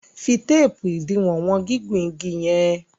fí teepu idiwọn wọn gigun ìgi yen.